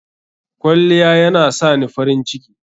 Kwalliya yana sani farin ciki.